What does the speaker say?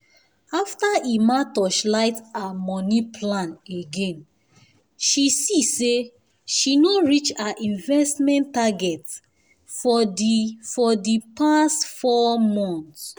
after emma torchlight her money plan again she see say she no reach her investment target for the for the past four month.